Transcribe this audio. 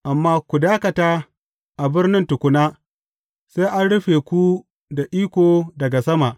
Amma ku dakata a birnin tukuna, sai an rufe ku da iko daga sama.